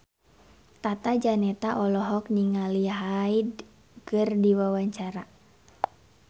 Tata Janeta olohok ningali Hyde keur diwawancara